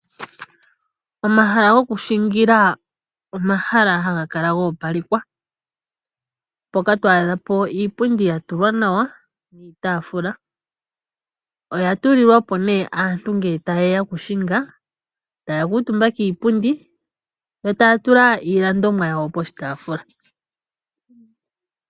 Omahala gokushingila omahala ha gakala goopalekwa, mpoka twaadhapo iipundi yatulwa nawa niitaafula. Oya tulilwapo nee aantu ngele tayeya okushinga, taakuutumba kiipundi yo taya tula iilandomwa yawo poshitaafula.